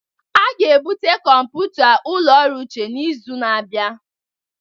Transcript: A ga-ebute kọmpụta ụlọ ọrụ Uche n'izu na-abịa.